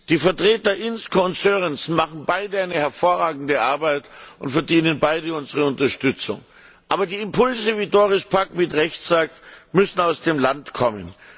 Die Vertreter Inzko und Sørensen machen beide eine hervorragende Arbeit und verdienen beide unsere Unterstützung. Aber die Impulse, wie Doris Pack mit Recht sagt, müssen aus dem Land kommen.